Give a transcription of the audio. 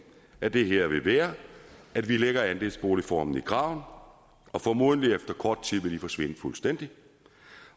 af det her vil være at vi lægger andelsboligformen i graven og formodentlig vil kort tid forsvinde fuldstændig